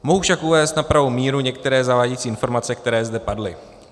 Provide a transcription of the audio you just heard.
Mohu však uvést na pravou míru některé zavádějící informace, které zde padly.